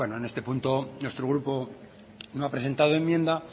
en este punto nuestro grupo no ha presentado enmienda